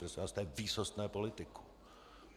Prosím vás, to je výsostné politikum.